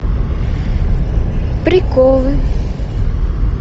приколы